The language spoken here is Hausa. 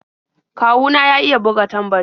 Kawu na ya iya buga tambari.